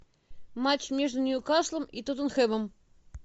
матч между ньюкаслом и тоттенхэмом